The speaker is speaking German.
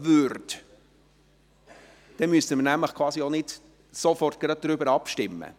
Dann müssten wir nämlich auch nicht sofort darüber abstimmen.